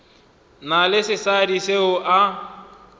na le sesadi seo a